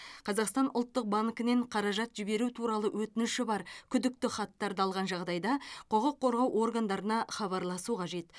қазақстан ұлттық банкінен қаражат жіберу туралы өтініші бар күдікті хаттарды алған жағдайда құқық қорғау органдарына хабарласу қажет